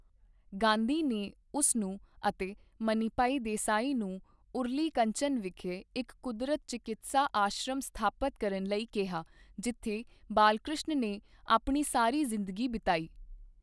ਗਾਂਧੀ ਨੇ ਉਸ ਨੂੰ ਅਤੇ ਮਨੀਭਾਈ ਦੇਸਾਈ ਨੂੰ ਉਰਲੀ ਕੰਚਨ ਵਿਖੇ ਇੱਕ ਕੁਦਰਤ ਚਿਕਿਤਸਾ ਆਸ਼ਰਮ ਸਥਾਪਤ ਕਰਨ ਲਈ ਕਿਹਾ ਜਿੱਥੇ ਬਾਲਕ੍ਰਿਸ਼ਨ ਨੇ ਆਪਣੀ ਸਾਰੀ ਜ਼ਿੰਦਗੀ ਬਿਤਾਈ।